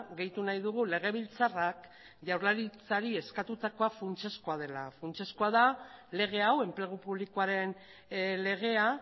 gehitu nahi dugu legebiltzarrak jaurlaritzari eskatutakoa funtsezkoa dela funtsezkoa da lege hau enplegu publikoaren legea